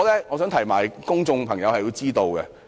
我認為公眾有必要知道。